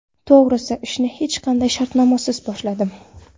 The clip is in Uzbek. To‘g‘ri, ishni hech qanday shartnomasiz boshladim.